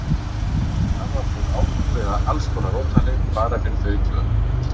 Hann var búinn að ákveða alls konar notalegheit bara fyrir þau tvö.